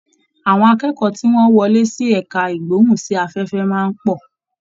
Àwọn akẹ́kọ̀ọ́ tí wọ́n wọlé sí ẹ̀ka ìgbóhùn sí afẹ́fẹ́ máa ń pọ̀